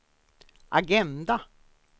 agenda